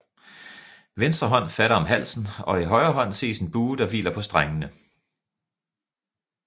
Venstre hånd fatter om halsen og i højre hånd ses en bue der hviler på strengene